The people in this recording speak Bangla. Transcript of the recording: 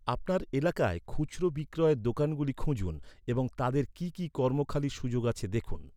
আপনার এলাকায় খুচরো বিক্রয়ের দোকানগুলি খুঁজুন এবং তাদের কি কি কর্মখালির সুযোগ আছে দেখুন।